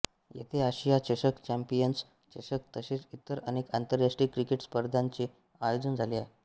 येथे आशिया चषक चँपियन्स चषक तसेच इतर अनेक आंतरराष्ट्रीय क्रिकेट स्पर्धांचे आयोजन झाले आहे